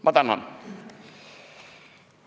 Ma tänan!